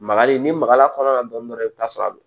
Magali n'i magal'a kɔnɔ na dɔɔni i bɛ t'a sɔrɔ a